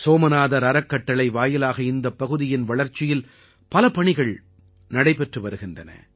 சோமநாதர் அறக்கட்டளை வாயிலாக இந்தப் பகுதியின் வளர்ச்சியில் பல பணிகள் நடைபெற்று வருகின்றன